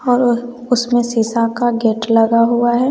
और उसमें शीशा का गेट लगा हुआ है।